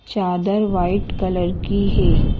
चादर white colour की है।